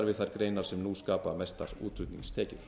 þær greinar sem nú skapa mestar útflutningstekjur